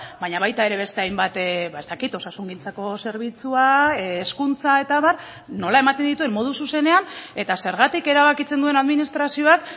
baina baita ere beste hainbat ez dakit osasungintzako zerbitzua hezkuntza eta abar nola ematen dituen modu zuzenean eta zergatik erabakitzen duen administrazioak